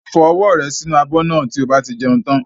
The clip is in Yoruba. Fọ ọwọ́ rẹ sí inú abọ́ náà tí o bá ti jẹun tán.